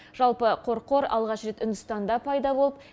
жалпы қорқор алғаш рет үндістанда пайда болып